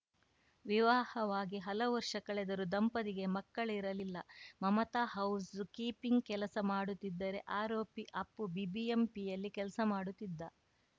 ವಿವಾಹವಾಗಿ ಹಲವು ವರ್ಷ ಕಳೆದರೂ ದಂಪತಿಗೆ ಮಕ್ಕಳಿರಲಿಲ್ಲ ಮಮತಾ ಹೌಸ್‌ ಕೀಪಿಂಗ್‌ ಕೆಲಸ ಮಾಡುತ್ತಿದ್ದರೆ ಆರೋಪಿ ಅಪ್ಪು ಬಿಬಿಎಂಪಿಯಲ್ಲಿ ಕೆಲಸ ಮಾಡುತ್ತಿದ್ದ